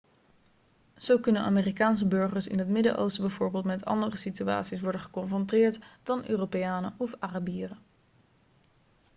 zo kunnen amerikaanse burgers in het midden-oosten bijvoorbeeld met andere situaties worden geconfronteerd dan europeanen of arabieren